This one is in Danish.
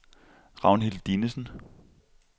Ragnhild Dinesen